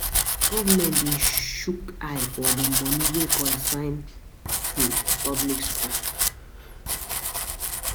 Na government de shook eye for the moni wey concern um public schools